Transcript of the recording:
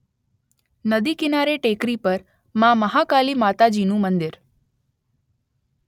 નદી કીનારે ટેકરી પર માં મહાકાલી માતાજીનું મંદિર